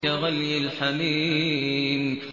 كَغَلْيِ الْحَمِيمِ